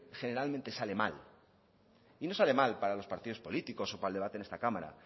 generalmente sale mal y no sale mal para los partidos políticos o para el debate en esta cámara